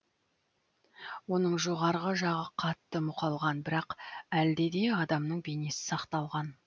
оның жоғарғы жағы қатты мұқалған бірақ әлде де адамның бейнесі сақталған